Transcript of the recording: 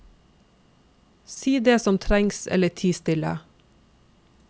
Si det som trengs eller ti stille.